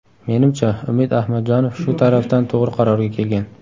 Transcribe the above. Menimcha, Umid Ahmadjonov shu tarafdan to‘g‘ri qarorga kelgan.